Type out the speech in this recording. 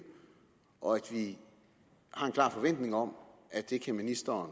og at vi har en klar forventning om at ministeren